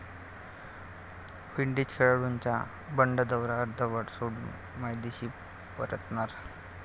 Windies खेळाडूंचं बंड, दौरा अर्धवट सोडून मायदेशी परतणार